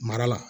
Mara la